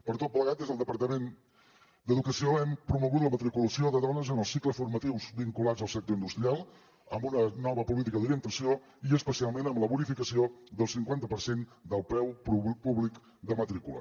per tot plegat des del departament d’educació hem promogut la matriculació de dones en els cicles formatius vinculats al sector industrial amb una nova política d’orientació i especialment amb la bonificació del cinquanta per cent del preu públic de matrícula